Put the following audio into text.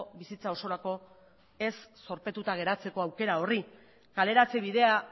bizitza osorako ez zorpetuta geratzeko aukera horri kaleratze bidea